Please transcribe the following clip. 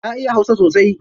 Na iya hausa sosai.